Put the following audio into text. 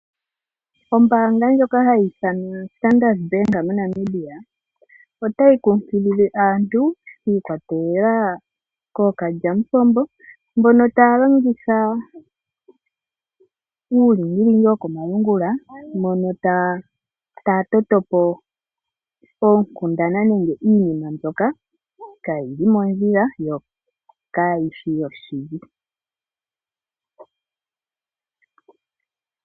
Ombaanga ndjoka hayi ithanwa standard Bank Namibia otayi kunkilile aantu yiikwatelela kookalyamupombo mbono taya longitha uulingilingi wokomalungula , mono taya toto po oonkundana nenge iinima mbyoka kaayi li mondjila, yo Kaayishi yoshili.